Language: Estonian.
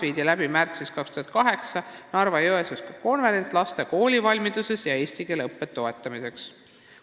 Selle raames viidi märtsis 2008 Narva-Jõesuus läbi ka konverents laste koolivalmiduse ja eesti keele õppe toetamise teemadel.